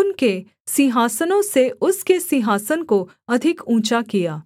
उनके सिंहासनों से उसके सिंहासन को अधिक ऊँचा किया